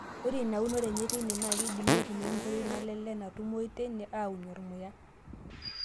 Ore ina unore enye teine naa keidimi aaitumiya nkoitoi naalelek naatumiyu teine aaunie ormuya.